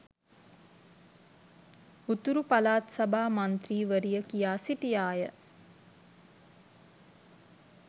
උතුරු පළාත් සභා මන්ත්‍රී වරිය කියා සිටියාය